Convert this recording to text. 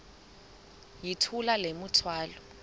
yithula le mithwalo